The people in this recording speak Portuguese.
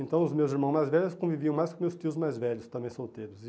Então os meus irmãos mais velhos conviviam mais com meus tios mais velhos, também solteiros.